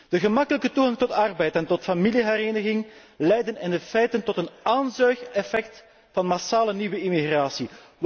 De gemakkelijke toegang tot arbeid en tot familiehereniging leiden in de praktijk tot een aanzuigeffect en massale nieuwe immigratie.